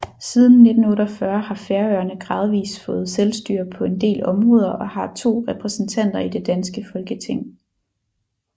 Siden 1948 har Færøerne gradvis fået selvstyre på en del områder og har to repræsentanter i det danske Folketing